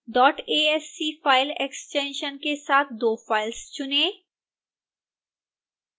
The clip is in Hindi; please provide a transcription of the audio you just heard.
asc file extension के साथ दो फाइल्स चुनें